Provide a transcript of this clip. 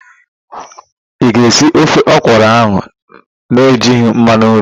Ị ga-esi ofe ọkwụrụ ahụ na-ejighi mmanụ nri?